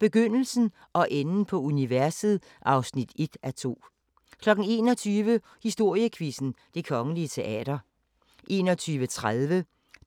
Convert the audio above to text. Begyndelsen og enden på universet (1:2) 21:00: Historiequizzen: Det Kongelige Teater 21:30: